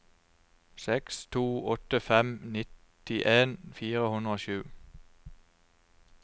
seks to åtte fem nittien fire hundre og sju